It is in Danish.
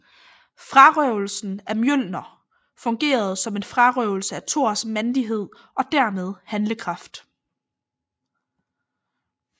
Frarøvelsen af Mjølner fungerede som en frarøvelse af Thors mandighed og dermed handlekraft